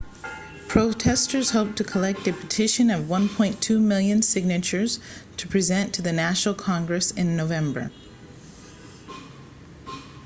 protesters hope to collect a petition of 1.2 million signatures to present to the national congress in november